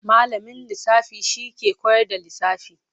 Malamin lisafi shi ke kowar da lisafi.